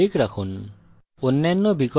এখন এটি public রাখুন